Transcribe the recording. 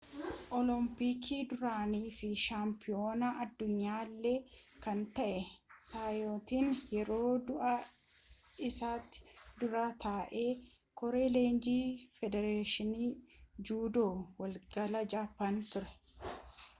olompiikii duraanii fi shaampiyoonaa addunyaa illee kan ta'e saayitoon yeroo du'a isaatti dura taa'aa koree leenjii federeeshinii juudoo waliigala jaappaan ture